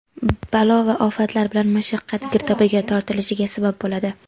balo va ofatlar bilan mashaqqat girdobiga tortilishiga sabab bo‘ladi.